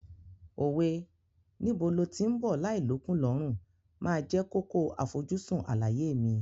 Òwe "Níbo lo tí ń bọ̀ láì l'ókùn l'ọ́rùn" máa jẹ́ kókó àfojúsùn àlàyé mi.